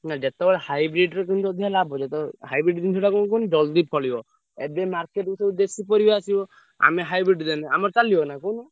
ନା ଯେତବେଳେ hybrid ଅଧିକା ଲାଭ ଯେତବେଳେ hybrid ଜିନିଷଟା କଣ କୁହନି ଜଲ୍ଦି ଫଳିବ। ଏବେ market କୁ ସବୁ ଦେଶୀ ପରିବା ଆସିବ ଆମେ hybrid ଦେଲେ ଆମର ଚାଲିବନା କହୁନ।